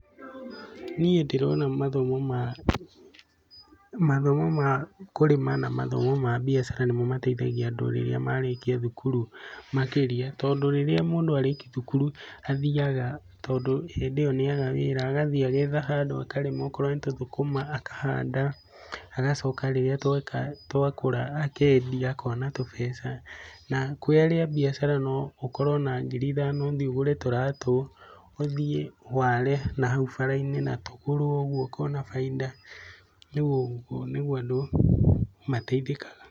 Niĩ ndĩrona mathomo makũrĩma na mathomo ma biacara nĩmo mateithagia andu rĩrĩa marĩkia thukuru makĩria tondũ rĩrĩa mũndũ arĩkia thukuru athiaga tondũ rĩu nĩaga wĩra agathii agetha handũ aka rĩma akorwo nĩ tũthũkũma akahanda agacoka rĩrĩa twakũra akendia akona tũmbeca na kwĩ biacara no ũkorwe na ngiri ithano ũthiĩ ũgũre tũratũ ũthiĩ ware nahau baraine na tũgũrwe ũguo na baida rĩũ ũguo rĩũ andũ mateithĩkaga.